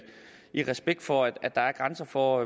i respekt for at der er grænser for